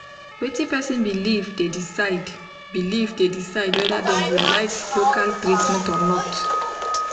wetin person belief dey decide belief dey decide whether dem go like local treatment or not